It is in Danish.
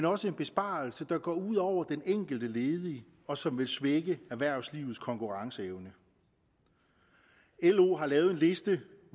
også en besparelse der går ud over den enkelte ledige og som vil svække erhvervslivets konkurrenceevne lo har lavet en liste